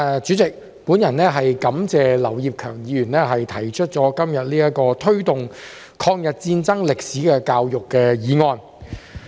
主席，我感謝劉業強議員今天提出"推動抗日戰爭歷史的教育"議案。